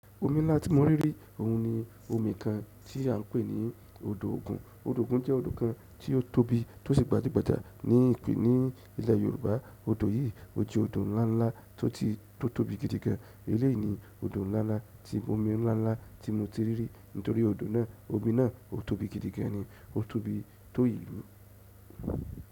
Omi ńlá tí mo rí rí, òun ni omi kan tí à ń pè ní odò ògùn. Odò ògun jẹ́ odò kan tí ó tóbi tó sì gbajúgbajà ní ìpín ní ilẹ̀ Yorùbá. Odò yìí ó jẹ́ odò ǹla ńlá tó tí tí ó tóbi gidi gan. Eléyìí ni odò ńlá ńlá tí omi ńlá ńlá tí mo ti rí rí, nítorí odò náà, omi náà o tóbi gidi gan ni. O tóbi tó ìlú.